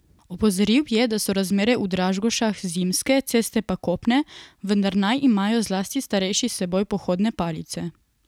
Opozoril je, da so razmere v Dražgošah zimske, ceste pa kopne, vendar naj imajo zlasti starejši s seboj pohodne palice.